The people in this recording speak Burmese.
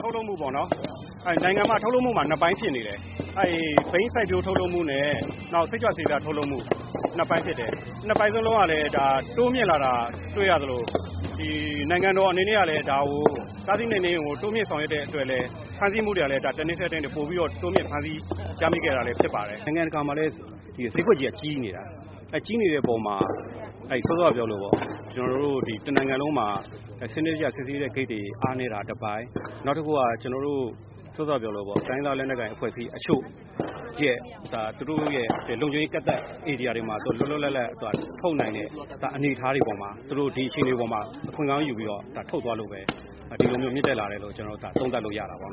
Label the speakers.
Speaker 1: ထုတ်လုပ်မှုပေါ့နော်၊ နိုင်ငံမှာ ထုတ်လုပ်မှုမှာ နှစ်ပိုင်းဖြစ်နေတယ်။ ဘိန်းစိုက်ပျိုး ထုတ်လုပ်မှုနဲ့ နောက် စိတ်ကြွဆေးပြားထုတ်လုပ် မှု နှစ်ပိုင်းဖြစ် တယ်။ နှစ်ပိုင်းစလုံးကလည်း တိုးမြင့်လာတာတွေ့ရ သလို နိုင်ငံတော်အနေနဲ့ ကလည်း တားဆီးနှိမ်နင်းရေးကို တိုးမြှင့် ဆောင်ရွက်တဲ့အတွက်လည်း ဖမ်းဆီး မှုတွေကလည်း တနှစ်ထက်တနှစ် ပိုပြီးတော့ တိုးမြှင့်ဖမ်းဆီးရမိခဲ့တာ လည်းဖြစ်ပါတယ်။ “နိုင်ငံတကာမှာလည်း ဈေးကွက်ကြီးက ကြီးနေတာ။ အဲဒီကြီးနေတဲ့အပေါ် မှာ စောစောကပြောသလိုပေါ့၊ ကျနော်တို့ တနိုင်ငံလုံးမှာ စနစ်တကျ စစ်ဆေးတဲ့ ဂိတ်တွေ အားနည်းတာတပိုင်း၊ နောက်တခုက တိုင်းရင်းသားလက်နက်ကိုင် အဖွဲ့အစည်းအချို့ရဲ့ လုံခြုံရေးကန့်သတ်ဧရိယာတွေမှာ လွတ်လွတ်လပ်လပ် ထုတ်နိုင်တဲ့ အနေအထားတွေပေါ်မှာ အခွင့်ကောင်းယူပြီးတော့ ထုတ်သွားလို့ပဲ ဒီလိုမျိုး မြင့်တက်လာတယ်လို့ သုံးသ
Speaker 2: ပ်လို့ရတာပေါ့